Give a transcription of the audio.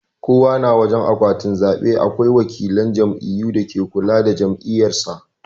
Kowana wajan akwatin zabe akwai wakilan jam'iyyu dake kula da jam'iyyar sa.